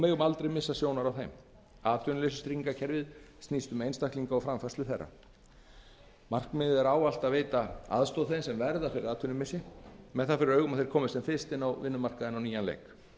megum aldrei missa sjónar á þeim atvinnuleysistryggingakerfið snýst um einstaklinga markmiðið er ávallt að veita aðstoð þeim sem verða fyrir atvinnumissi með það fyrir augum að þeir komist sem fyrst inn á vinnumarkaðinn á nýjan leik